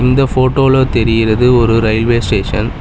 இந்த ஃபோட்டோல தெரியிறது ஒரு ரயில்வே ஸ்டேஷன் .